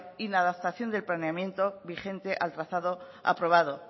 inadaptación del planeamiento vigente al trazado aprobado